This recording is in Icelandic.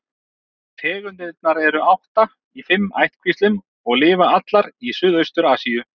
Tegundirnar eru átta í fimm ættkvíslum og lifa allar í Suðaustur-Asíu.